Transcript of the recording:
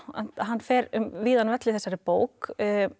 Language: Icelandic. hann fer um víðan völl í þessari bók